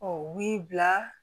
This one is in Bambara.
u b'i bila